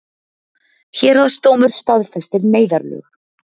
Héraðsdómur staðfestir neyðarlög